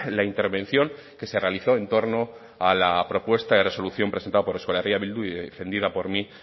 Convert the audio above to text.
la intervención que se realizó en torno a la propuesta de resolución presentada por euskal herria bildu y defendida por mí